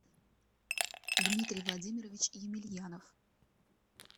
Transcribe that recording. дмитрий владимирович емельянов